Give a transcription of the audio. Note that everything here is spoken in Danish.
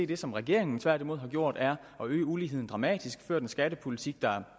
det som regeringen tværtimod har gjort er at øge uligheden dramatisk ført en skattepolitik der